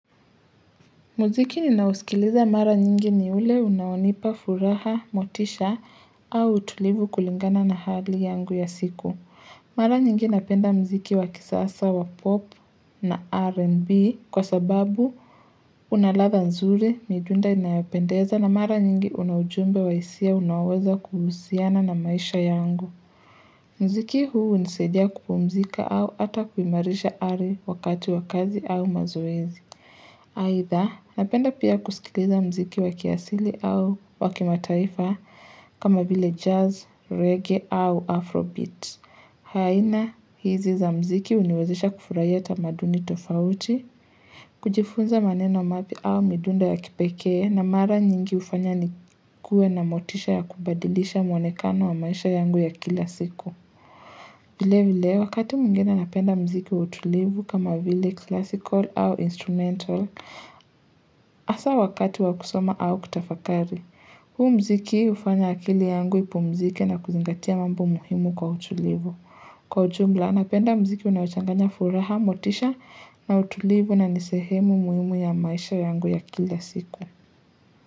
Muziki ninaosikiliza mara nyingi ni ule unaonipa furaha, motisha, au utulivu kulingana na hali yangu ya siku. Mara nyingi napenda mziki wa kisasa wa pop na R&B kwa sababu unalatha nzuri, midunda inayopendeza na mara nyingi unaujumbe wa isia unaoweza kuhusiana na maisha yangu. Mziki huu hunisaidia kupumzika au ata kuimarisha ari wakati wa kazi au mazoezi. Either napenda pia kusikiliza mziki wakiasili au wakimataifa kama vile jazz, reggae au afrobeat. Aina hizi za mziki uniwezesha kufurahia tamaduni tofauti, kujifunza maneno mapya au midunda ya kipekee na mara nyingi ufanya ni kue na motisha ya kubadilisha mwonekano wa maisha yangu ya kila siku. Vile vile wakati mwingine napenda mziki utulivu kama vile classical au instrumental hasa wakati wakusoma au kutafakari. Huu mziki ufanya akili yangu ipumzike na kuzingatia mambo muhimu kwa utulivu. Kwa ujumla napenda mziki unaochanganya furaha motisha na utulivu na nisehemu muhimu ya maisha yangu ya kila siku.